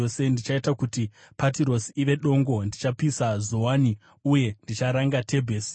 Ndichaita kuti Patirosi ive dongo, ndichapisa Zoani, uye ndicharanga Tebhesi.